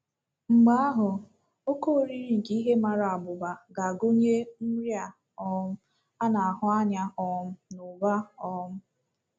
Mgbe ahụ ,“ oké oriri nke ihe mara abụba” ga-agụnye nri a um na-ahụ anya um n’ụba. um